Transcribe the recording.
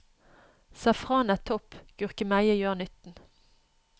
Safran er topp, gurkemeie gjør nytten.